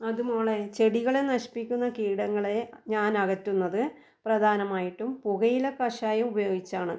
അത് മോളെ ചെടികളെ നശിപ്പിക്കുന്ന കീടങ്ങളെ ഞാൻ അകറ്റുന്നത് പ്രധാനമായിട്ടും പുകയില കഷായം ഉപയോഗിച്ചാണ്.